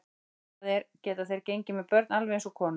Það er, geta þeir gengið með börn alveg eins og konur?